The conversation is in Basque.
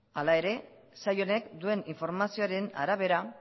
hala ere sail honek duen informazioaren arabera